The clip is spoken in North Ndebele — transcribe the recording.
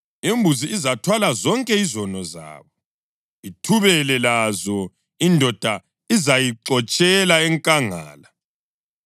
Imbuzi izathwala zonke izono zabo, ithubele lazo; indoda izayixotshela enkangala.